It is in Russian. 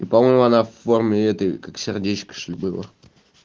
и по-моему она форме этой как сердечко чтоль было